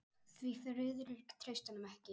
Því Friðrik treysti honum ekki.